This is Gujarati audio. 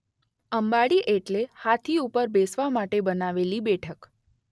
અંબાડી એટલે હાથી ઉપર બેસવા માટે બનાવેલી બેઠક.